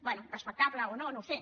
bé respectable o no no ho sé